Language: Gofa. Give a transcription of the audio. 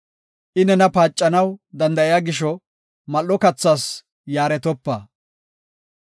I nena paacanaw danda7iya gisho, mal7o kathas yaaretopa.